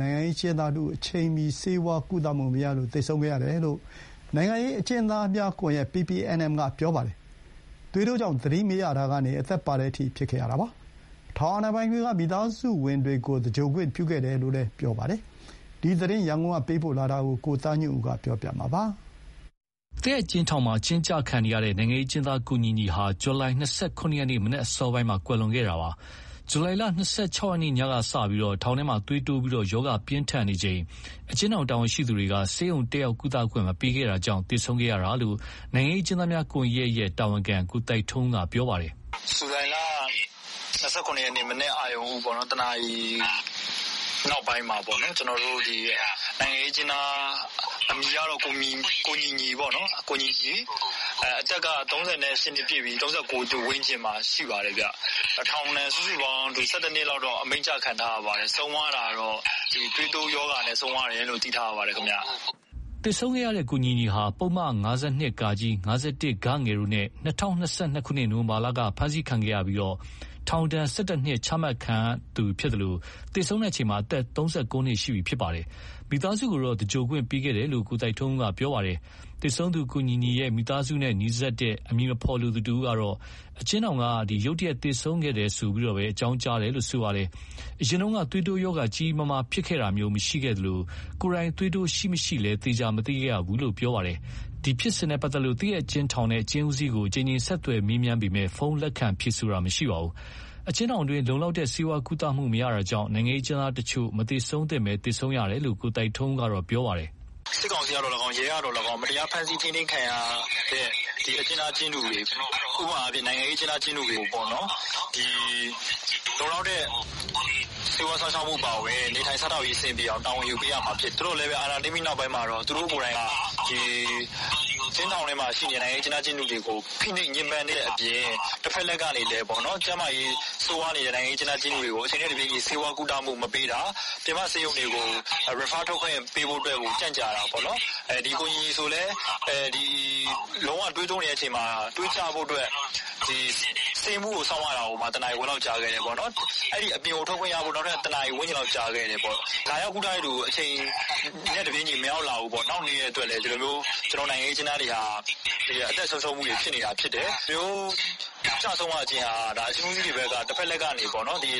နိုင်ငံရေးအကျဉ်းသားတဦး အချိန်မီဆေးကုသခွင့်မရလို့ ဇူလိုင်လ ၂၇ ရက်နေ့က သေဆုံးသွားခဲ့ရတယ်လို့ နိုင်ငံရေးအကျဥ်းသားများကွန်ရက် က ပြော ပါတယ်။ အကျဉ်းထောင်တွေထဲ ဆေးဝါးကုသမှုမရလို့ သေဆုံးသူဦးရေဟာ ဒီတနှစ်အတွင်း ၁၀ ဦးထက်မနည်းရှိတယ်လို့လည်း နိုင်ငံရေးအကျဥ်းသားများ ကွန်ရက် ကပြောပါတယ်။ ရန်ကုန်က ပေးပို့ထားတဲ့သတင်းကို ကိုသားညွန့်ဦးက တင်ပြပေးထားပါတယ်။ သရက်အကျဉ်းထောင်မှာ အကျဉ်းကျနေတဲ့ နိုင်ငံရေးအကျဉ်းသား ကိုညီညီဟာ ဇူလိုင် ၂၇ ရက် မနက်အစောပိုင်း မှာသေဆုံးခဲ့တာပါ။ ဇူလိုင်လ ၂၆ ရက်နေ့ ညကစလို့ ထောင်တွင်းမှာ သွေးတိုးပြီး ရောဂါပြင်းထန်နေချိန် အကျဉ်းထောင် တာဝန်ရှိသူတွေက ဆေးရုံတက်ရောက်ကုသခွင့်မပေးခဲ့တာကြောင့် သေဆုံးခဲ့ရတယ်လို့ နိုင်ငံရေးအကျဥ်း သားများ ကွန်ရက် ရဲ့ တာဝန်ခံ ကိုသိုက်ထွန်းဦးက ပြောပါတယ်။ "ဇူလိုင်လ ၂၇ ရက်နေ့ မနက်အရုဏ်ဦး ၁ နာရီနောက်ပိုင်းမှာ နိုင်ငံရေးအကျဉ်းသားအမည်ကတော့ ကိုညီညီပေါ့။ အသက်က ၃၈ နှစ်ပြည့်ပြီး ၃၉ နှစ်ထဲမှာပေါ့။ ထောင်ဒဏ်စုစုပေါင်း ၁၁ နှစ်အမိန့်ချခံထားရပါတယ်။ ဆုံးတာကတော့ သွေးတိုးရောဂါနဲ့ ဆုံးတာလို့သိထားရပါတယ်။" ကိုညီညီဟာ ၂၀၂၂ နိုဝင်ဘာလက ဖမ်းဆီးခံခဲ့ရပြီး ပုဒ်မ ၅၂ /၅၁ တို့နဲ့ ထောင်ဒဏ် ၁၁ နှစ် ချမှတ်ခံထားရတာပါ။ သူ သေဆုံးချိန်မှာ အသက် ၃၉ နှစ် ရှိပြီဖြစ်ပါတယ်။ မိသားစုကိုတော့ သင်္ဂြိုဟ်ခွင့်ပေးခဲ့တယ်လို့ ကိုသိုက်ထွန်းဦးက ပြောပါတယ်။ သေဆုံးသူကိုညီညီရဲ့မိသားစုနဲ့နီးစပ်တဲ့အမည်မဖော်လိုသူတဦးကတော့ အကျဉ်းထောင်က ရုတ်တရက် သေဆုံးခဲ့တယ်လို့ သာ အကြောင်းကြားခဲ့တယ်လို့ ပြောပါတယ်။ အရင်က သွေးတိုးရောဂါ ကြီးကြီးမားမားဖြစ်ခဲ့တာမျိုး မရှိခဲ့သလို ကိုယ်တိုင်သွေးတိုးရှိမရှိလည်း သေချာမသိခဲ့ရဘူးလို့ ပြောပါ တယ်။ ဒီဖြစ်စဉ်နဲ့ပတ်သတ်လို့ သရက်အကျဉ်းထောင်နဲ့ အကျဉ်းဦးစီးကိုအကြိမ်ကြိမ်ဆက်သွယ်မေးပေမယ့် ဖုန်းလက်ခံဖြေဆိုတာမရှိခဲ့ပါဘူး။ အကျဉ်းထောင်တွေမှာ လုံလောက်တဲ့ဆေးဝါးကုသမှုမရတာကြောင့် နိုင်ငံရေးအကျဉ်းသားတချို့ မသေဆုံးသင့်ဘဲ သေဆုံးနေရတာလို့ ကိုသိုက်ထွန်းဦးကတော့ ပြောပါတယ်။ " စစ်ကောင်စီကသော်လည်းကောင်း၊ ရဲကသော်လည်းကောင်း မတရားဖမ်းဆီးခံထားရတဲ့ အကျဉ်းသား အကျဉ်းသူတွေ၊ နိုင်ငံရေးအကျဉ်းသားတွေကိုပေါ့ လုံလောက်တဲ့ ဆေးဝါးစောင့်ရှောက်မှုအပါအဝင် နေထိုင်စားသောက်ရေးကိုတာဝန်ယူ ပေးရမှာဖြစ်တယ်။ ဒါပေမယ့် အာဏာသိမ်းပြီးနောက်ပိုင်းမှာ သူတို့ကိုယ်တိုင်က အကျဉ်းထောင်ထဲမှာရှိတဲ့ နိုင်ငံရေးအကျဉ်းသားအကျဉ်းသူတွေကို ဖိနှိပ်ညှင်းပန်းတဲ့အပြင် တဖက်လှည့်ကနေလည်းကျန်းမာရေးဆိုးဝါးနေတဲ့ နိုင်ငံရေးအကျဉ်းသူအကျဉ်းသားတွေကို အချိန်နဲ့တပြေးညီဆေးဝါးကုသခွင့်မပေးတာ၊ အပြင်ဆေးရုံတွေကို refer ထုတ်ခွင့်ကြန့်ကြာတာ၊ ကိုညီညီဆိုလည်း လုံးဝသွေးတိုးနေတဲ့အချိန်မှာ သွေးကျဖို့အတွက်ဆေးမှူးကိုစောင့်ရတာ တနာရီခွဲလောက်ကြာခဲ့တယ်။ အပြင်ကိုထွက်ကုသခွင့်ရဖို့လည်း ၁ နာရီဝန်းကျင်လောက်ကြာခဲ့တယ်။ လာရောက်ကုသဖို့ အချိန်နဲ့တပြေးညီမရောက်လာဘူးပေါ့။ ဒီလိုနှောင့်နှေးတဲ့အတွက်လည်း ကျနော်တို့နိုင်ငံရေးအကျဉ်းသားတွေက အသက် ဆုံးရှုံးနေရတာဖြစ်တယ်။ ဒီလိုကျဆုံးရတာဟာ အကျဉ်းဦးစီးကနေ တဖက်လှည့်နဲ့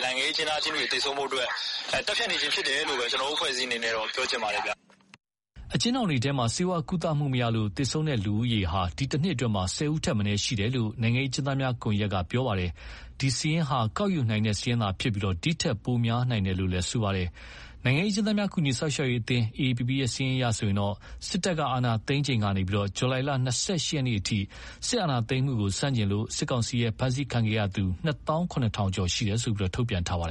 နိုင်ငံရေးအကျဉ်းသား အကျဉ်းသူတွေ သေဆုံးဖို့အတွက် သတ်ဖြတ်နေတာဖြစ်တယ်လို့ ကျနော်တို့ အဖွဲ့က ပြောချင်ပါတယ်။" အကျဉ်းထောင်တွေထဲမှာ ဆေးဝါးကုသမှုမရလို့သေဆုံးသူဦးရေဟာ ဒီတနှစ်အတွင်း ၁၀ ဦးထက်မ နည်းရှိတယ်လို့ နိုင်ငံရေးအကျဥ်းသားများကွန်ရက် ကပြောပါတယ်။ ဒီစာရင်းဟာကောက်ယူနိုင်တဲ့စာရင်းသာရှိပြီး ဒီထက်ပိုများနိုင်တယ်လို့လည်း ပြောပါ တယ်။ နိုင်ငံရေးအကျဉ်းသားများကူညီစောင့်ရှောက်ရေးအသင်း AAPP စာရင်းအရ စစ်တပ်အာဏာ သိမ်းချိန်ကနေ ဇူလိုင်လ ၂၈ ရက်နေ့အထိ စစ်အာဏာသိမ်းမှုကိုဆန့်ကျင်လို့ စစ်ကောင်စီ ရဲ့ ဖမ်းဆီးခံခဲ့ ရသူ နှစ်သောင်းခုနစ်ထောင်ကျော် ရှိတယ်လို့ ထုတ်ပြန်ထားပါတယ်